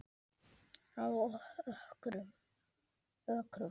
Á Ökrum